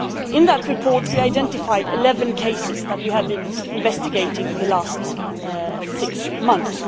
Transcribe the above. In that report we identified 11 cases that we had been investigating for the last six months.